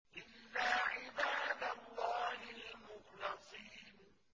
إِلَّا عِبَادَ اللَّهِ الْمُخْلَصِينَ